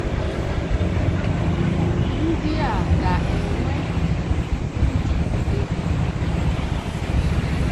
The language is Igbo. Ndị a ga-enwe ndụ ebighị ebi n’ụwa.